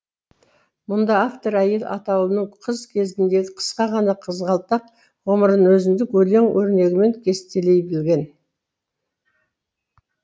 мұнда автор әйел атаулының қыз кезіндегі қысқа ғана қызғалдақ ғұмырын өзіндік өлең өрнегімен кестелей білген